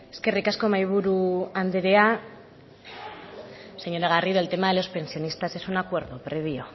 eskerrik asko mahaiburu andrea señora garrido el tema de los pensionistas es un acuerdo previo